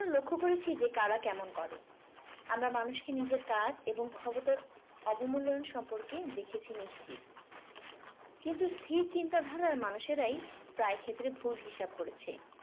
লক্ষ্য করেছি যে কারা কেমন করে । আমরা মানুষকে নিজের কাজ এবং ক্ষমতার অবমূল্যায়ন সম্পর্কে দেখেছি নিশ্চিত। কিন্তু স্থির চিন্তাধারার মানুষেরাই প্রায় ক্ষেত্রে ভুল হিসাব করেছে।